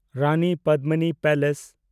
Rani Padmini palace (Chittorgarh)